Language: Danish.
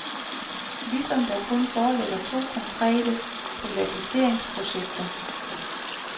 Ligesom der kun foreligger to konkrete privatiseringsprojekter.